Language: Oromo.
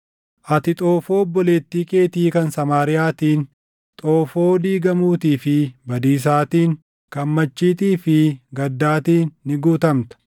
Ati xoofoo obboleettii keetii kan Samaariyaatiin, xoofoo diigamuutii fi badiisaatiin, kan machiitii fi gaddaatiin ni guutamta.